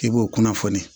I b'o kunnafoni